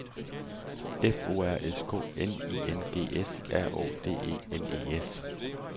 F O R S K N I N G S R Å D E N E S